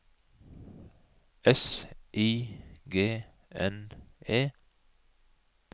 S I G N E